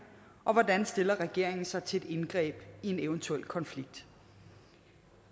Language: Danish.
og hvordan stiller regeringen sig til et indgreb i en eventuel konflikt